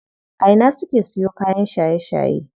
A ina suke siyo kayan shaye shaye?